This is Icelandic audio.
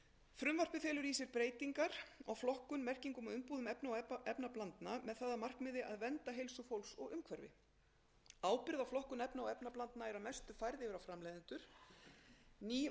frumvarpið felur í sér breytingar á flokkun merkingu og umbúðir efna og efnablandna með það að markmiði að vernda heilsu fólks og umhverfi ábyrgð á flokkun efna og efnablandna er að mestu leyti færð yfir á framleiðendur ný varnaðarmerki munu einnig taka við f